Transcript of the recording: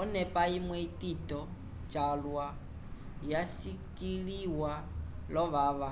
onepa imwe itito calwa yasikĩliwa l’ovava